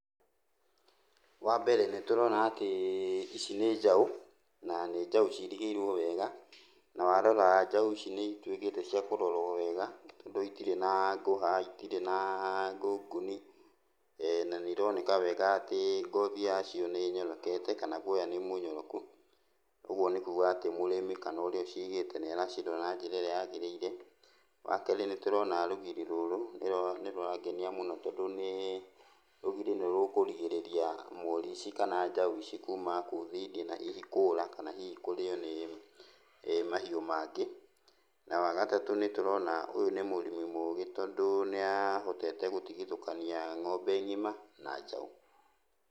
Wambere nĩtũrona atĩ ici nĩ njaũ, na nĩ njaũ cirigĩirwo wega, na warora njaũ ici nĩituĩkĩte cia kũrorwo wega tondũ itirĩ na ngũha, itirĩ na ngũngũni na nĩironeka wega atĩ ngothi yacio nĩnyorokete kana guoya nĩmũnyoroku, ũguo nĩ kuga atĩ mũrĩmi kana ũrĩa ũcigĩte nĩaracirora na njĩra ĩrĩa yagĩrĩire. Wakerĩ nĩtũrona rũgiri rũrũ nĩrũrangenia mũno tondũ nĩ rũgiri nĩrũkũrigĩrĩria mori ici kana njaũ ici kuma kũu thĩiniĩ na itikũra, kana hihi kũrĩo nĩ mahiũ mangĩ. Na wagatatũ nĩtũrona atĩ ũyũ nĩ mũrĩmi mũgĩ tondũ nĩahotete gũtigithũkania ng'ombe ng'ima na njaũ.